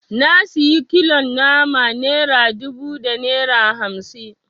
Na sayi kilon nama naira dubu da naira hamsi